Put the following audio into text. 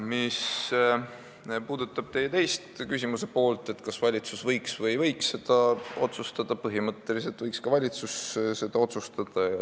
Mis puudutab teie küsimuse teist poolt, kas valitsus võiks või ei võiks seda otsustada, siis põhimõtteliselt võiks valitsus seda teha.